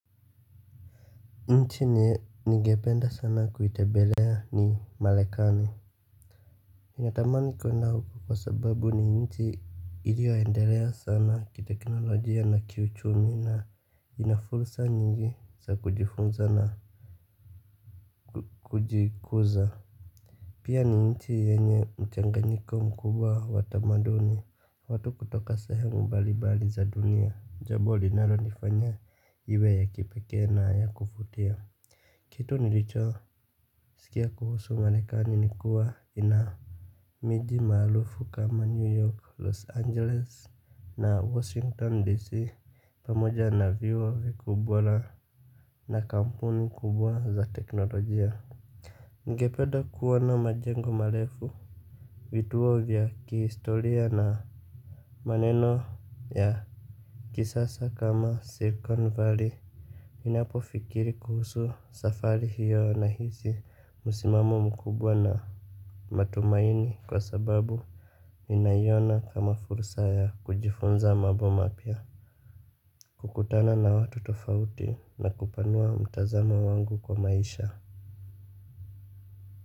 Nchi ningependa sana kuitebelea ni malekani natamani kuenda huko kwa sababu ni nchi iliyoendelea sana ki teknolojia na kiuchumi na inafursa nyingi za kujifunza na kujikuza. Pia ni nchi yenye mchanganyiko mkubwa watamaduni watu kutoka sahemu mbalibali za dunia jambo linaro nifanya iwe ya kipeke na ya kufutia. Kitu nilicho sikia kuhusu marikani nikuwa ina miji mahalufu kama New York Los Angeles na Washington D.C. Pamoja na viwa vikubwa na na kampuni kubwa za teknolojia. Ningepeda kuoana majengo marefu. Vituoa vya kihistoria na maneno ya kisasa kama Silicon Valley ninapo fikiri kuhusu safari hiyo na hisi musimamo mkubwa na matumaini kwa sababu ninaiona kama fursa ya kujifunza maboma pia. Kukutana na watu tofauti na kupanua mtazama wangu kwa maisha.